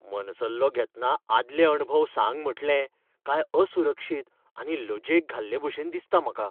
मनसल्लो घेतना आदले अणभव सांग म्हटलें काय असुरक्षित आनी लजेक घाल्लेभशेन दिसता म्हाका.